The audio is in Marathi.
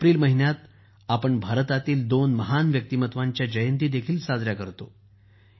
एप्रिलच्या महिन्यात आपण भारतातील दोन महान व्यक्तींच्या जयंती देखील साजऱ्या करतो